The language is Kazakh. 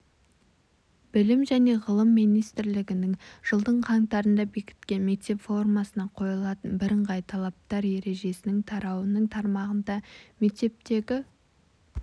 білім және ғылым министрінің жылдың қаңтарында бекіткен мектеп формасына қойылатын бірыңғай талаптар ережесінің тарауының тармағында мектептегі